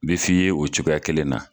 A bɛ f'i ye o cogoya kelen na.